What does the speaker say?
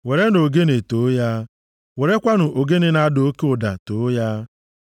werenụ ogene too ya, werekwanụ ogene na-ada oke ụda too ya.